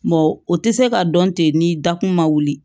o tɛ se ka dɔn ten ni dakun ma wuli